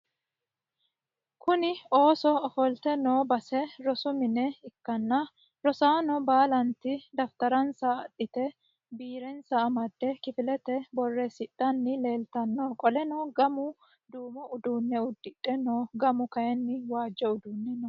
Kuni ooso ofoltte noo base rosu mine ikkanna rosaano baalantti dafitaranssa adhite biirenssa amade kifilete boreessidhanni leelttano qoleno gamu duumo uduunne udidhe no gamu kaayiini waajjo udidhe no